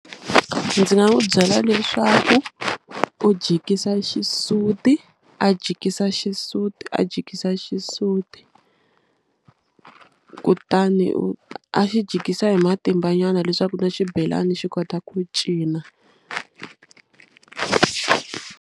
Ndzi nga n'wi byela leswaku u jikisa xisuti a jikisa xisuti a jikisa xisuti kutani u a xi jikisa hi matimba nyana leswaku na xibelani xi kota ku cina.